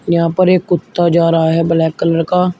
यहाँ पर एक कुत्ता जा रहा है ब्लैक कलर का।